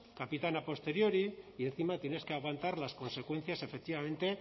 capitán a posteriori y encima tienes que aguantar las consecuencias efectivamente